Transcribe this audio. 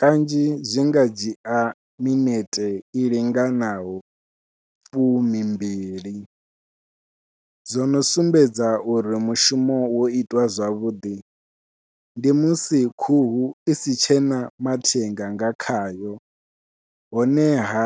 Kanzhi zwi nga dzhia minete i linganaho fumimbili zwo no sumbedza uri mushumo wo itiwa zwavhuḓi ndi musi khuhu isi tshena mathenga nga khayo, honeha